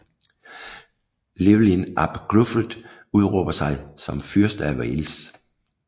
Llywelyn ap Gruffudd udråber sig som Fyrste af Wales